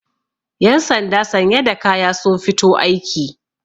yansanda sanye da kaya sun fito aiki